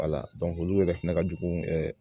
olu yɛrɛ fɛnɛ ka jugu